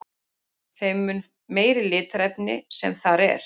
þeim mun meira litarefni sem þar er